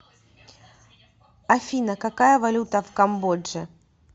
афина какая валюта в камбодже